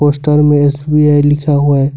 Poster में SBI लिखा हुआ है।